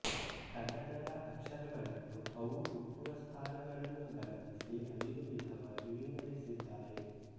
ಕನ್ನಡದ ಅಕ್ಷರಗಳನ್ನು ಅವು ಹುಟ್ಟುವ ಸ್ಥಾನಗಳನ್ನು ಗಮನಿಸಿ ಐದು ವಿಧವಾಗಿ ವಿಂಗಡಿಸಿದ್ದಾರೆ